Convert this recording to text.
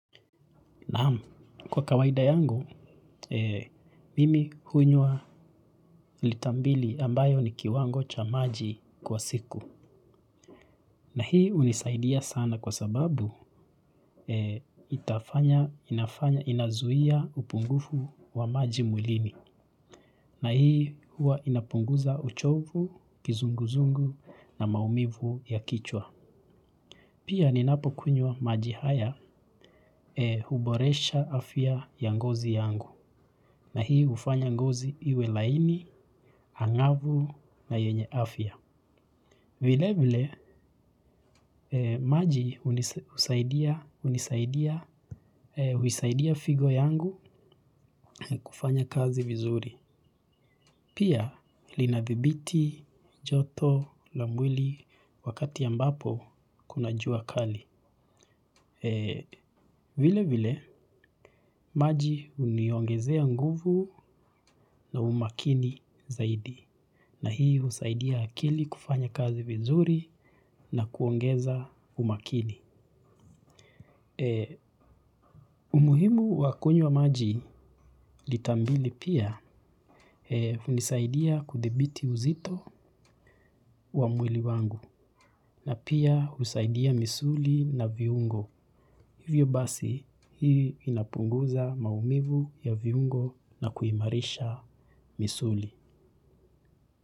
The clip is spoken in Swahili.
Naam, kwa kawaida yangu, mimi hunywa lita mbili ambayo ni kiwango cha maji kwa siku. Na hii hunisaidia sana kwa sababu, inazuia upungufu wa maji mwilini. Na hii huwa inapunguza uchovu, kizunguzungu na maumivu ya kichwa. Pia ninapo kunywa maji haya huboresha afya ya ngozi yangu na hii hufanya ngozi iwe laini, angavu na yenye afya. Vilevile maji husaidia figo zangu kufanya kazi vizuri. Pia linadhibiti joto la mwili wakati ambapo kuna jua kali. Vilevile, maji huniongezea nguvu na umakini zaidi. Na hii husaidia akili kufanya kazi vizuri na kuongeza umakini. Umuhimu wa kunywa maji lita mbili pia hunisaidia kudhibiti uzito wa mwili wangu. Na pia husaidia misuli na viungo. Hivyo basi hii inapunguza maumivu ya viungo na kuimarisha misuli.